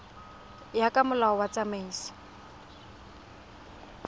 ya ka molao wa tsamaiso